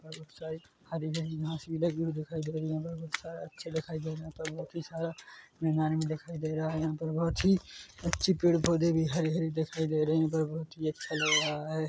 और उस साइड हरी-हरी घास भी लगी हुई दिखाई दे रही है बहोत सारा अच्छे दिखाई दे रहे है यहाँ पर बहोत ही सारा मैदान भी दिखाई दे रहा है यहाँ पर बहोत ही अच्छी पेड़-पौधे भी हरी-हरी दिखाई दे रही है वह बहोत ही अच्छा लग रहा है।